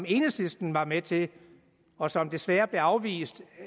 enhedslisten var med til og som desværre blev afvist